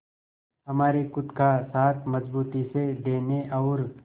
हमारे खुद का साथ मजबूती से देने और